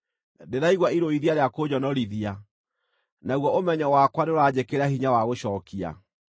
Ndĩraigua irũithia rĩa kũnjonorithia, naguo ũmenyo wakwa nĩũranjĩkĩra hinya wa gũcookia.